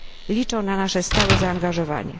Liczą na nasze stałe zaangażowanie.